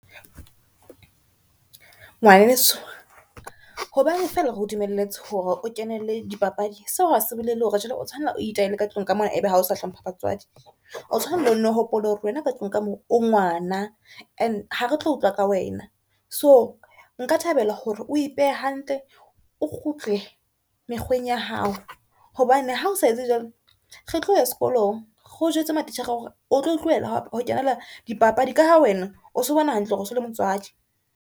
Ngwaneso hobane fela re o dumelletse hore o kenele dipapadi, seo hase bolele hore jwale o tshwanela o itahele ka tlung ka mona ebe ha o sa hlompha batswadi. O tshwanela o nno hopole hore wena ka tlung ka mo o ngwana, ene ha retlo utlwa ka wena, so nka thabela hore o ipehe hantle, o kgutle mekgweng ya hao, hobane ha o sa etse jwalo, re tlo ya sekolong re jwetse matitjhere hore o tlo tlohela ho kenela dipapadi ka ha wena o so bona hantle hore so le motswadi.